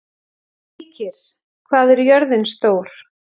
Heikir, hvað er jörðin stór?